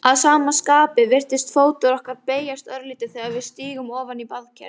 Að sama skapi virðist fótur okkar beygjast örlítið þegar við stígum ofan í baðker.